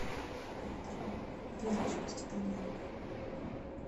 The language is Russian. верочку степаненко